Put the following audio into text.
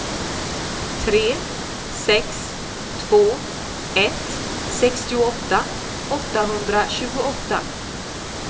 tre sex två ett sextioåtta åttahundratjugoåtta